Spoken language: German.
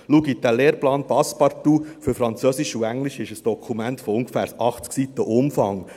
Schauen Sie, der Lehrplan «Passepartout» für Französisch und Englisch ist ein Dokument von ungefähr 80 Seiten Umfang.